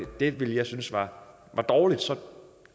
det ville jeg synes var dårligt så